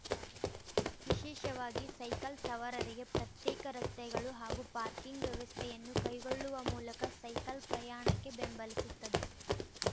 ವಿಶೇಷವಾಗಿ ಸೈಕಲ್ ಸವಾರರಿಗೆ ಪ್ರತ್ಯೇಕ ರಸ್ತೆಗಳು ಹಾಗೂ ಪಾರ್ಕಿಂಗ್ ವ್ಯವಸ್ಥೆಯನ್ನು ಕೈಗೊಳ್ಳುವ ಮೂಲಕ ಸೈಕಲ್ ಪ್ರಯಾಣಕ್ಕೆ ಬೆಂಬಲಿಸುತ್ತದೆ